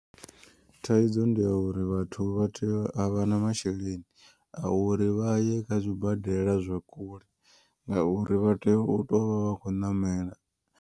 Thaidzo ndi ya uri vhathu vha tea a vha na masheleni. A uri vha ye kha zwibadela zwa kule ngauri vha tea u to vha vha kho ṋamela.